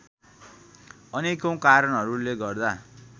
अनेकौं कारणहरूले गर्दा